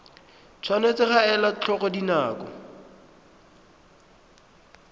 tshwanetse ga elwa tlhoko dinako